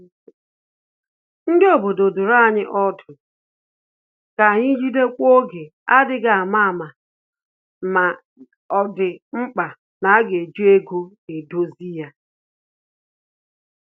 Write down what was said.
Ndị obodo duru anyị ọdụ ka anyị jidekwuo oge adịghị ama ama ya ọ dị mkpa na-aga eji ego dozie ya